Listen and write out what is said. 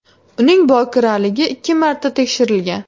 Uning bokiraligi ikki marta tekshirilgan.